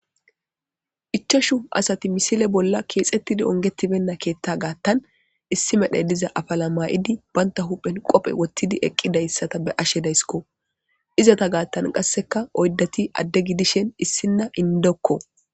Ichashu asati misile bolla keexettidi ongetibenna keetta gaattan issi medhey diza afala maay7idi banta huphen qophe wottidi eqqidayssata be ashe dayskko izata gaattan qasseka oydati adde gidishen issinna indokko